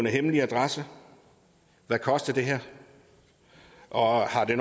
hemmelige adresser hvad koster det her og har det